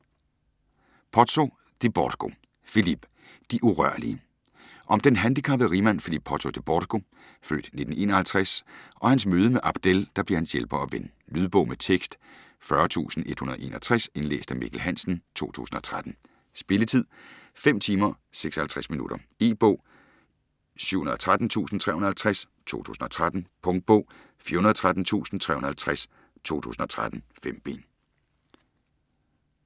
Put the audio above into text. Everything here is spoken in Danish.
Pozzo di Borgo, Philippe: De urørlige Om den handicappede rigmand Philippe Pozzo Di Borgo (f. 1951), og hans møde med Abdel, der bliver hans hjælper og ven. Lydbog med tekst 40161 Indlæst af Mikkel Hansen, 2013. Spilletid: 5 timer, 56 minutter. E-bog 713350 2013. Punktbog 413350 2013. 5 bind.